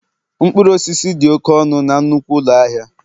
mkpụrụ osisi dị oke ọnụ na nnukwu ụlọ ahịa